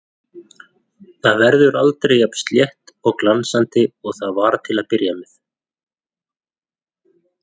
Það verður aldrei jafn slétt og glansandi og það var til að byrja með.